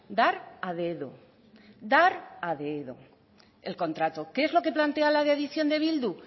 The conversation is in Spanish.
dar a dedo dar a dedo el contrato qué es lo que planea la de adición de bildu